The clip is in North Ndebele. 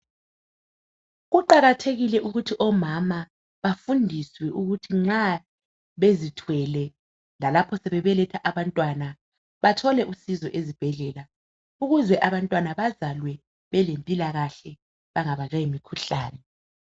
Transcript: Kuqakathekile ukuthi omama bafundiswe ukuthi nxa bezithwele lalapho sebebeletha abantwana bathole usizo ezibhedlela ukuze abantwana bazalwe belempilakahke bangabanjwa yimikhuhlane.